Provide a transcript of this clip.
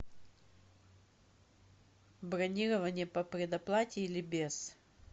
бронирование по предоплате или без